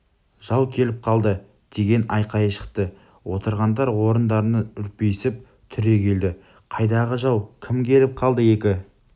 жау келіп қалды деген айқайы шықты отырғандар орындарынан үрпиісіп түрегелді қайдағы жау кім келіп қалды екі